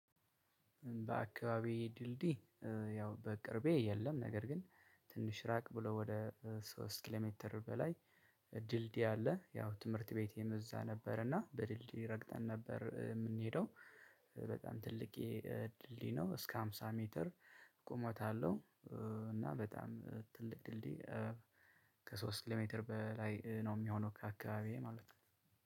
በአካባቢዬ ድልድይ ያው በቅርቤ የለም። ነገር ግን ትንሽ ራቅ ብሎ ወደ ሶስት ኪሎ ሜትር በላይ ድልድይ አለ። ያው ትምህርት ቤቴም እዛ ነበር እና በድልድይ ረግጠን ነበር የምንሄደው። በጣም ትልቅዬ ድልድይ ነው እስከ ሃምሳ ሜትር ቁመት አለው። እና በጣም ትልቅ ድልድይ። ከሶስት ኪሎ ሜትር በላይ ነው የሚሆነው ከአካባቢዬ ማለት ነው።